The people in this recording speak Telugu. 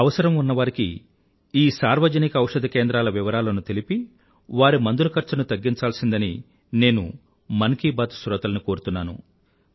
అవసరం ఉన్నవారికి ఈ సార్వజనిక ఔషధ కేంద్రాల వివరాలను తెలిపి వారి మందుల ఖర్చుని తగ్గించాల్సిందని నేను మనసులో మాట శ్రోతలను కోరుతున్నాను